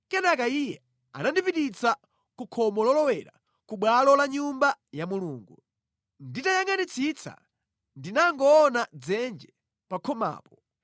Kenaka Iye anandipititsa ku khomo lolowera ku bwalo la Nyumba ya Mulungu. Nditayangʼanitsitsa ndinangoona dzenje pa khomapo.